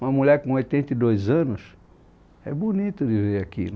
Uma mulher com oitenta e dois anos, é bonito de ver aquilo.